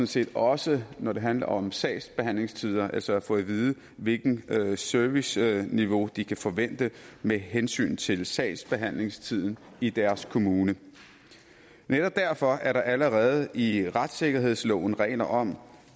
set også når det handler om sagsbehandlingstider altså få at vide hvilket serviceniveau de kan forvente med hensyn til sagsbehandlingstiden i deres kommune netop derfor er der allerede i retssikkerhedsloven regler om